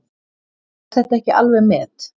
Er þetta ekki alveg met!